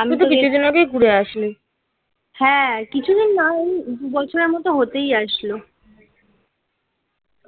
আমি তো কিছুদিন আগেই ঘুরে আসি. হ্যাঁ. কিছুদিন না ওই বছরের মতো হতেই আসলো